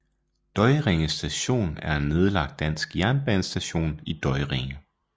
Døjringe Station er en nedlagt dansk jernbanestation i Døjringe